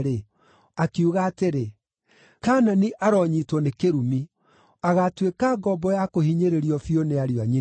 akiuga atĩrĩ, “Kaanani aronyiitwo nĩ kĩrumi! Agaatuĩka ngombo ya kũhinyĩrĩrio biũ nĩ ariũ a nyina.”